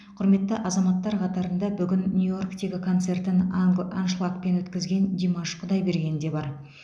құрметті азаматтар қатарында бүгін нью йорктегі концертін анг аншлагпен өткізген димаш құдайберген де бар